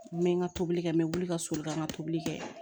N bɛ n ka tobili kɛ n bɛ wuli ka so boli ka tobili kɛ